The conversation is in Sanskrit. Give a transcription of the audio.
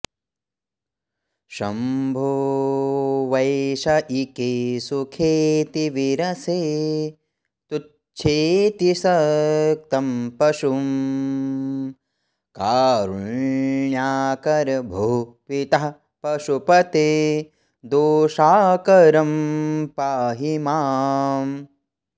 शंभो वैषयिके सुखेऽतिविरसे तुच्छेऽतिसक्तं पशुं कारुण्याकर भोः पितः पशुपते दोषाकरं पाहि माम्